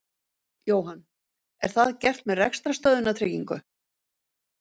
Jóhann: Er það gert með rekstrarstöðvunartryggingu?